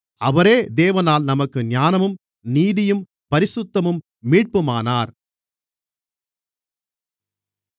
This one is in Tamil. அவரே தேவனால் நமக்கு ஞானமும் நீதியும் பரிசுத்தமும் மீட்புமானார்